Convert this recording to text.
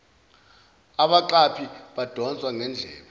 abaqaphi badonswa ngendlebe